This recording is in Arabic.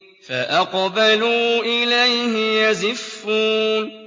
فَأَقْبَلُوا إِلَيْهِ يَزِفُّونَ